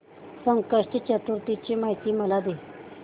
संकष्टी चतुर्थी ची मला माहिती दे